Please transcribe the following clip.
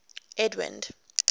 edwind